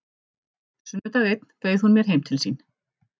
Sunnudag einn bauð hún mér heim til sín.